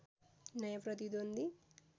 नयाँ प्रतिद्वन्द्वी